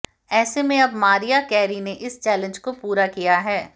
ऐसे में अब मारिया कैरी ने इस चैलेंज को पूरा किया है